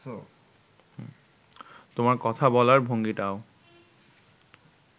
তোমার কথা বলার ভঙ্গিটাও